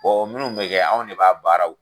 o minnu kun bi kɛ anw ne b'a baaraw kɛ